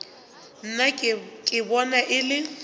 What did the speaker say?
nna ke bona e le